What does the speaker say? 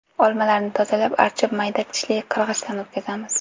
Olmalarni tozalab, archib mayda tishli qirg‘ichdan o‘tkazamiz.